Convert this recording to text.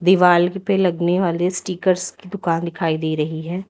दीवाल के ऊपर लगने वाले स्टिगर्स की दुकान दिखाई दे रही है।